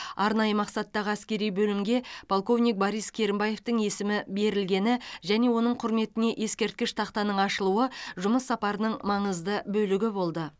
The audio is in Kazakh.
арнайы мақсаттағы әскери бөлімге полковник борис керімбаевтің есімі берілгені және оның құрметіне ескерткіш тақтаның ашылуы жұмыс сапарының маңызды бөлігі болды